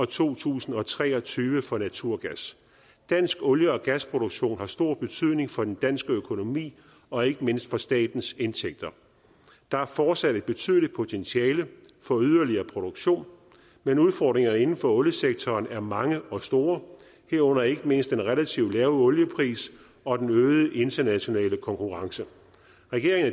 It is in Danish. to tusind og tre og tyve for naturgas dansk olie og gasproduktion har stor betydning for den danske økonomi og ikke mindst for statens indtægter der er fortsat et betydeligt potentiale for yderligere produktion men udfordringerne inden for oliesektoren er mange og store herunder ikke mindst den relativt lave oliepris og den øgede internationale konkurrence regeringen